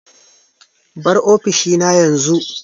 Bar ofishina yanzu!